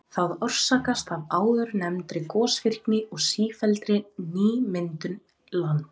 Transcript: Það orsakast af áðurnefndri gosvirkni og sífelldri nýmyndun lands.